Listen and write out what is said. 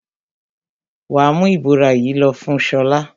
Wà á mú ìbora yìí lọ fún Ṣọlá!